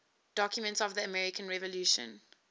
documents of the american revolution